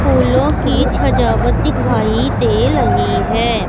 फूलों की छजावट दिखाई दे रही है।